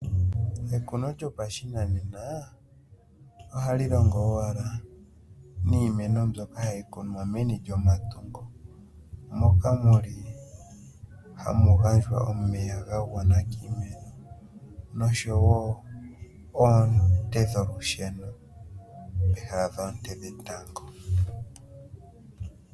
Ekuno lyopashinane ohali longi owala niimeno mbyoka hayi vulu oku kunwa meni lyomatungo moka muli hamu gandjwa omeya gagwana kiimeno oshowo oonte dholusheno peha lyoonte dhetango.